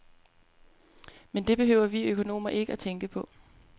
Men det behøver vi økonomer ikke tænke på.